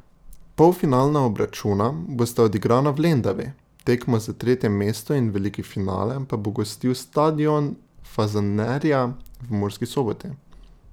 Polfinalna obračuna bosta odigrana v Lendavi, tekmo za tretje mesto in veliki finale pa bo gostil stadion Fazanerija v Murski Soboti.